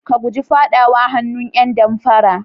Ka guji faɗawa hannun ƴan damfara.